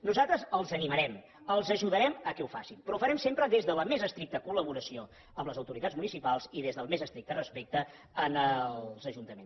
nosaltres els hi animarem els ajudarem perquè ho facin però ho farem sempre des de la més estricta col·laboració amb les autoritats municipals i des del més estricte respecte als ajuntaments